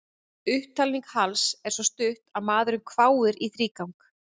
Upptalning Halls er svo stutt að maðurinn hváir í þrígang.